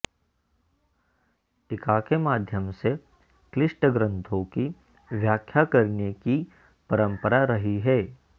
टीका के माध्यम से क्लिष्ट ग्रन्थों की व्याख्या करने की परम्परा रही है